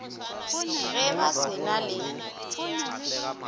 ge ba se na le